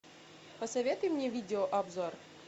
посоветуй мне видео обзор